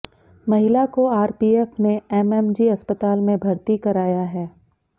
महिला को आरपीएफ ने एमएमजी अस्पताल में भर्ती कराया है